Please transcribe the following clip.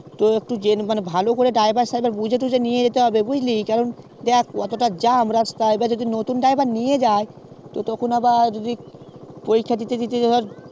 তো একটু জেনে শুনেই driver টা নিয়ে যেতে হইবে বুঝলি কারণ দেখ অতটা জ্যাম রাস্তা যদি নতুন driver নিয়ে গেলে তখন আবার ওখানে যদি